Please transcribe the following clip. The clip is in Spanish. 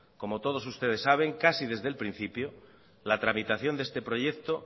como todo ustedes saben casi desde el principio la tramitación de este proyecto